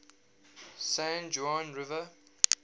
san juan river